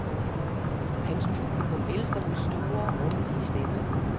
Hans publikum elsker den store, rummelige stemme.